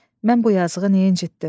Mən bu yazıqı niyə incitdim?